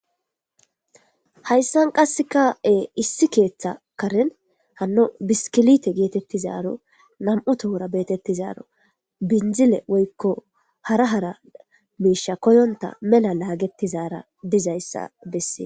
Hayssan qasseka7e issi keeththa karen hanno biskilite geetettizaaro nam7u tohura beetettizaaro binzile woykko hara hara miisha koyonta mela laagetizaara dizayssa bessee.